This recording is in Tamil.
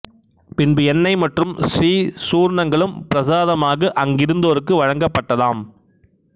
பின்பு எண்ணெய் மற்றும் ஸ்ரீ சூர்ணங்களும் பிரசாதமாக அங்கிருந்தோருக்கு வழங்கப்பட்டதாம்